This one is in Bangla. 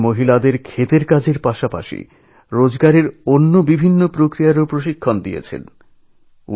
তিনি গ্রামের মহিলাদের চাষবাসের পাশাপাশি স্বনির্ভর হওয়ার নানান প্রশিক্ষণ দেন